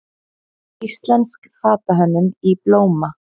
Íslensk fatahönnun í blóma